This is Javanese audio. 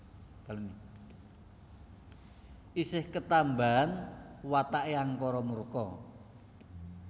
Isih ketambahan watake angkara murka